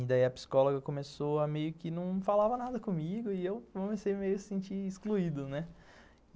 E daí a psicóloga começou a meio que não falava nada comigo e eu comecei meio a se sentir excluído, né?